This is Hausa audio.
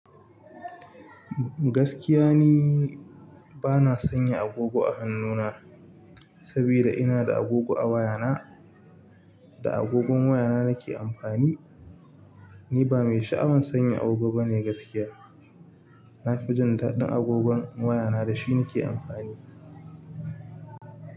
Gaskiya ni bana sanya agogo a hannuna saboda ina da agogo a wayana. Da agogon wayana nake amfani. Ni ba mai sha'awan sanya agogo bane gaskiya. Nafi jundaɗin agogon wayana da shi nake amfani.